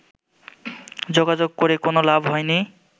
যোগাযোগ করে কোনো লাভ হয়নি